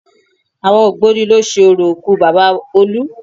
Àwọn ògbóni ló ṣe orò òkú Bàbá olú